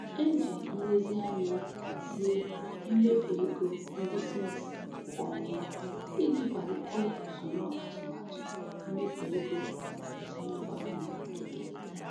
E ji nlezianya hazie mmefu ego ndị Smiths kwa ọnwa iji kwalite usoro atụmatụ mmefu ego ezinụlọ ha na-ekerịta.